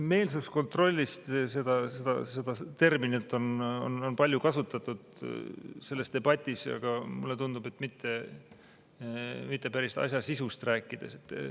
Meelsuskontrolli terminit on selles debatis palju kasutatud, aga mulle tundub, et mitte päris asja sisust rääkides.